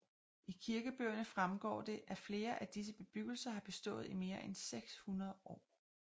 I kirkebøgerne fremgår det at flere af disse bebyggelser har bestået i mere end 600 år